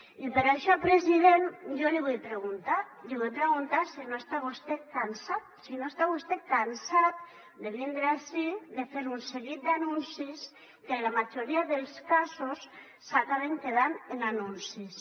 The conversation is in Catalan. i per això president jo li vull preguntar l’hi vull preguntar si no està vostè cansat si no està vostè cansat de vindre ací de fer un seguit d’anuncis que en la majoria dels casos s’acaben quedant en anuncis